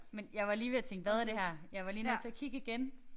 Men jeg var lige ved at tænke hvad er det her. Jeg var lige nødt til at kigge igen